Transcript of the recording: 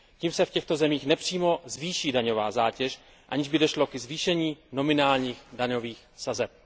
Tím se v těchto zemích nepřímo zvýší daňová zátěž, aniž by došlo ke zvýšení nominálních daňových sazeb.